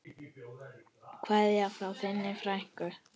Kveðja frá þinni frænku.